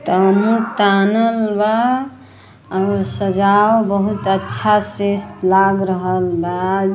तम्बू तानल बा और सजाव बहुत अच्छा से लाग रहल बा।